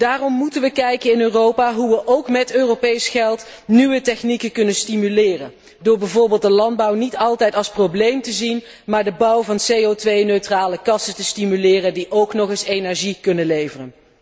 Daarom moeten we in Europa kijken hoe we ook met Europees geld nieuwe technieken kunnen stimuleren, door bijvoorbeeld de landbouw niet altijd als probleem te zien, maar de bouw van CO 2 neutrale kassen te stimuleren die ook nog eens energie kunnen leveren.